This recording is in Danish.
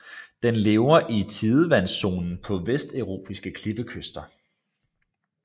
Den lever i tidevandszonen på vesteuropæiske klippekyster